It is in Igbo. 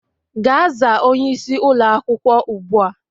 Gaa zaa onyeisi ụlọ akwukwo ugbu a!